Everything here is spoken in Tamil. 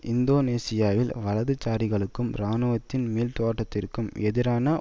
இந்தோனேசியாவில் வலதுசாரிகளுக்கும் இராணுவத்தின் மீள்தோற்றத்திற்கும் எதிரான